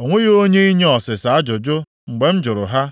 o nweghị onye inye ọsịsa ajụjụ mgbe m jụrụ ha.